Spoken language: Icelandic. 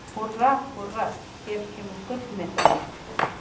Húrra, húrra- hér kemur gullmedalían!